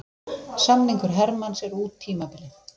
Samningur Hermanns er út tímabilið.